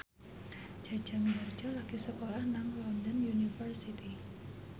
Jaja Mihardja lagi sekolah nang London University